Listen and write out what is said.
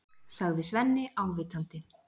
sagði Svenni ávítandi.